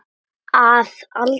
Að aldrei.